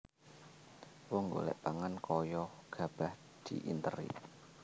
Wong golek pangan kaya gabah diinteri